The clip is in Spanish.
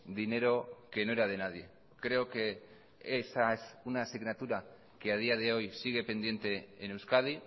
dinero que no era de nadie creo que esa es una asignatura que a día de hoy sigue pendiente en euskadi